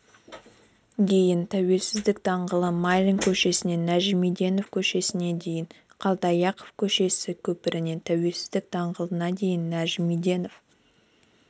дейін тәуелсіздік даңғылы майлин көшесінен нажмиденов көшесіне дейін қалдыаяқов көшесі көпірінен тәуелсіздік даңғылына дейін нажмиденов